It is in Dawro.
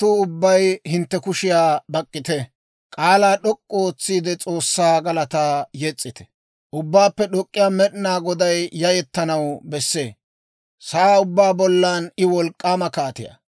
Ubbaappe D'ok'k'iyaa Med'inaa Goday yayettanaw bessee; sa'aa ubbaa bollan I wolk'k'aama kaatiyaa.